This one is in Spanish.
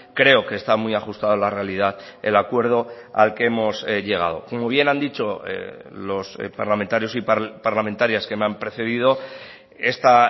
creo que está muy ajustado a la realidad el acuerdo al que hemos llegado como bien han dicho los parlamentarios y parlamentarias que me han precedido esta